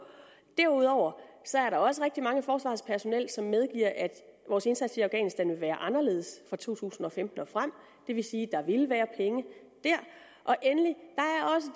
derudover er der også rigtigt mange i forsvarets personel som medgiver at vores indsats i afghanistan vil være anderledes fra to tusind og femten og frem og det vil sige at der vil være penge der endelig